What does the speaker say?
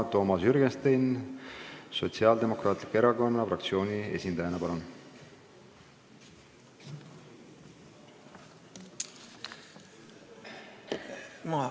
Toomas Jürgenstein Sotsiaaldemokraatliku Erakonna fraktsiooni esindajana, palun!